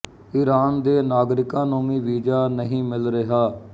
Iran ਦੇ ਨਾਗਰਿਕਾਂ ਨੂੰ ਵੀ ਵੀਜ਼ਾ ਨਹੀਂ ਮਿਲ ਰਿਹਾ